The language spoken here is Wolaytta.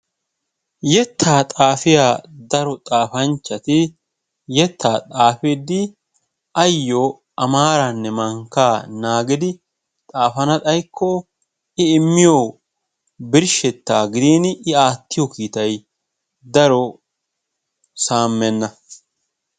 Yettaa xaafiya daro xaafanchchati yettaa xaaafidi ayoo a maaranne mankkaa naagidi xaafana xaykko I immiyo birshetaa gidin I aattiyo kiittay daro saamenna.